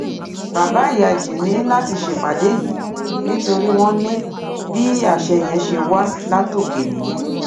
bàbá ìyájí ní láti ṣèpàdé yìí nítorí wọn ní bí àṣẹ yẹn ṣe wá látòkè nìyẹn